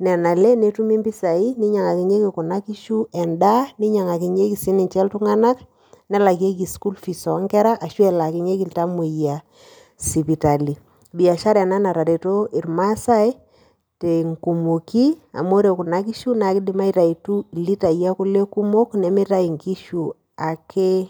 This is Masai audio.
nena ale netumi impisai ninyiang'akinyieki kuna kishu endaa ninyaing'akinyie sininche iltung'anak nelakieki school fees ashu elaakinyieki iltamuoyia sipitali, biashara ena natareto irmaasai tenkumooi amu ore kuna kishu naa kiidim aitayutu ilitai e kule kumok nemitayu nkishu ake